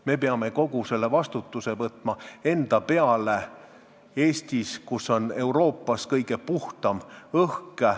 Meie peame võtma kogu vastutuse enda peale siin Eestis, kus on Euroopa kõige puhtam õhk.